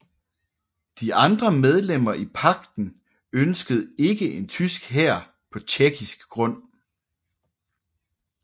De andre medlemmer i pagten ønskede ikke en tysk hær på tjekkisk grund